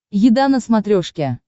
еда на смотрешке